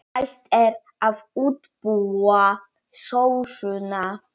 Næst er að útbúa sósuna.